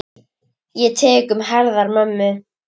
Ég tek um herðar mömmu.